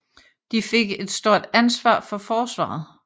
De fik et stort ansvar for forsvaret